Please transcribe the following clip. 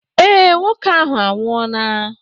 Ee, nwoke ahụ anwụọla.